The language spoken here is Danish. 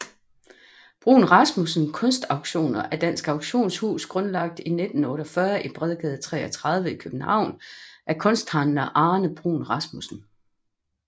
Bruun Rasmussen Kunstauktioner er et dansk auktionshus grundlagt 1948 i Bredgade 33 i København af kunsthandler Arne Bruun Rasmussen